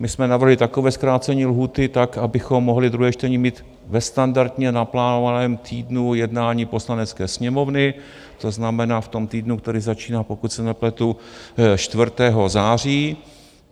My jsme navrhli takové zkrácení lhůty tak, abychom mohli druhé čtení mít ve standardně naplánovaném týdnu jednání Poslanecké sněmovny, to znamená v tom týdnu, který začíná, pokud se nepletu 4. září.